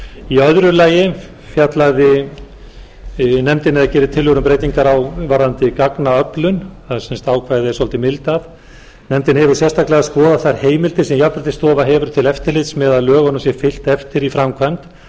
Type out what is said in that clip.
í öðru lagi fjallaði nefndin eða gerði tillögur um breytingar varðandi gagnaöflun það ákvæði er svolitið mildað nefndin hefur sérstaklega skoðað þær heimildir sem jafnréttisstofa hefur til eftirlits með að lögunum sé fylgt eftir í framkvæmd þar